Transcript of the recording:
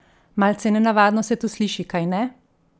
Malce nenavadno se to sliši, kajne?